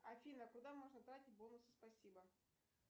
афина куда можно тратить бонусы спасибо